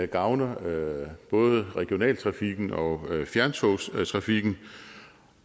gavner både regionaltrafikken og fjerntogstrafikken